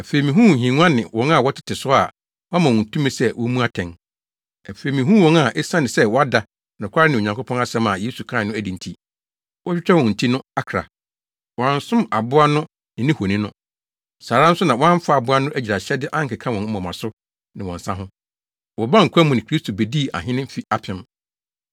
Afei mihuu nhengua ne wɔn a wɔtete so a wɔama wɔn tumi sɛ wommu atɛn. Afei mihuu wɔn a esiane sɛ wɔada nokware ne Onyankopɔn asɛm a Yesu kae no adi nti, wɔatwitwa wɔn ti no akra. Wɔansom aboa no ne ne honi no. Saa ara nso na wɔamfa aboa no agyiraehyɛde ankeka wɔn moma so ne wɔn nsa ho. Wɔbaa nkwa mu ne Kristo bedii ahene mfe apem.